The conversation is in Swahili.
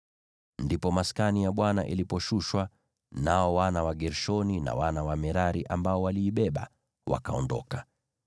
Ndipo Maskani iliposhushwa, nao wana wa Gershoni na wana wa Merari ambao waliibeba wakaondoka.